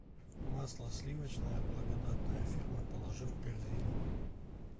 масло сливочное благодатная ферма положи в корзину